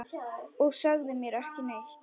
Og sagðir mér ekki neitt!